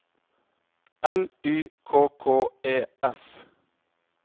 L Y K K E S